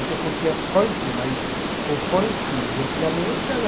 Que eu curtia funk, mas o funk de antigamente era...